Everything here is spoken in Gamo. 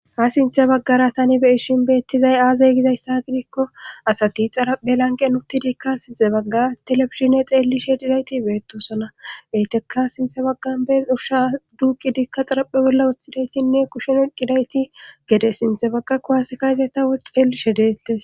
Ha sinthe baggara tani beishin beettizay aazay gizayssa gidikko asati xarappe lanqe nutidikka sinxe baggar telefishine xeelli she dizayti beettosona eyteka sinthe baggan bee urhsha duuqi dikka xaraphe bolla woththidaytinne kushen oqqidayti gede sinthe bagga kuwasekayzeta wo xeellishe deetes.